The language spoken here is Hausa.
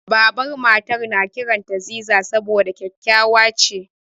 Babar Matar na kiranta Ziza saboda kyakkyawa ce.